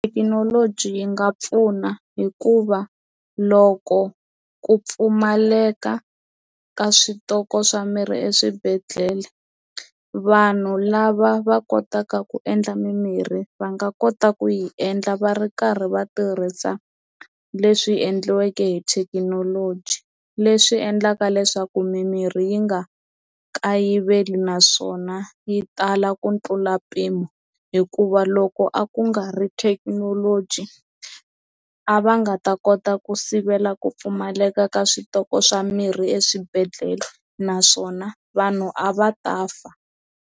Thekinoloji yi nga pfuna hikuva loko ku pfumaleka ka switoko swa mirhi eswibedhlele vanhu lava va kotaka ku endla mimirhi va nga kota ku yi endla va ri karhi va tirhisa leswi endliweke hi thekinoloji leswi endlaka leswaku mimirhi yi nga kayiveli naswona yi tala ku tlula mpimo hikuva loko a ku nga ri thekinoloji a va nga ta kota ku sivela ku pfumaleka ka switoko swa mirhi eswibedhlele naswona vanhu a va ta fa.